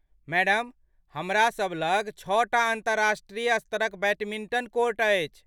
Madam, हमरा सभ लग छओटा अन्तर्राष्ट्रीय स्तरक बैडमिंटन कोर्ट अछि।